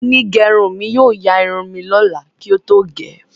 Onígerun mi yóò yaa irun li lola kí ó tó gẹ́